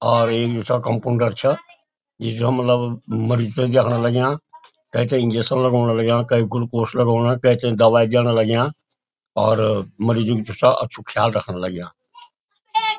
और ये जो छा कम्पाउंडर छा ये जो मलब मरीज थें देखणा लाग्यां तेथें इंजेक्शन लगौंण लाग्यां कै गुलकोस लगौंणा कैथें दवाई देणा लाग्यां और मरिजु जो छा अच्छु ख्याल रखण लाग्यां।